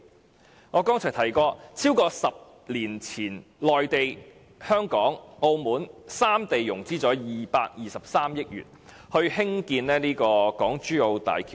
正如我剛才提到，在10多年前，內地、香港及澳門三地融資合共223億元興建港珠澳大橋。